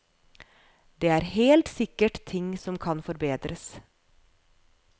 Det er helt sikkert ting som kan forbedres.